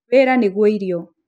wĩra nĩguo irio